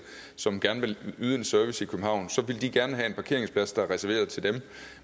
som gerne ville yde service i københavn så ville gerne have en parkeringsplads der er reserveret til dem